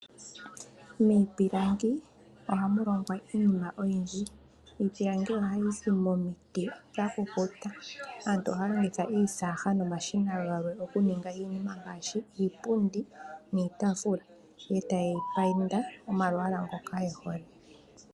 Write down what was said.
Miipilangi ohamu longwa iinima oyindji. Iipilangi oha yizi momiti dha kukuta, aantu ohaya longitha iisaaga nomashina galwe oku ninga iinima ngaashi iipundi niitaafula, eta ye yi painda omalwaala ngoka yehole.